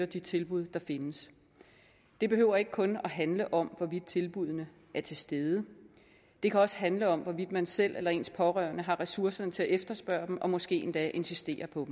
de tilbud der findes det behøver ikke kun at handle om hvorvidt tilbuddene er til stede det kan også handle om hvorvidt man selv eller ens pårørende har ressourcerne til at efterspørge dem og måske endda insisterer på at